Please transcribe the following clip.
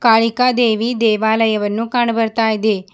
ಕಾಳಿಕಾದೇವಿ ದೇವಾಲಯವನ್ನು ಕಾಣು ಬರ್ತಾ ಇದೆ.